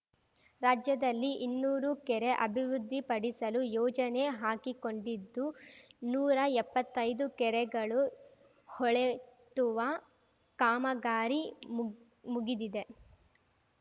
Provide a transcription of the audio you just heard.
ರಾಜ್ಯದಲ್ಲಿ ಇನ್ನೂರು ಕೆರೆ ಅಭಿವೃದ್ಧಿಪಡಿಸಲು ಯೋಜನೆ ಹಾಕಿಕೊಂಡಿದ್ದು ನೂರಾ ಎಪ್ಪತ್ತೈದು ಕೆರೆಗಳು ಹೊಳೆತ್ತುವ ಕಾಮಗಾರಿ ಮುಗ್ ಮುಗಿದಿದೆ